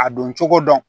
A don cogo dɔn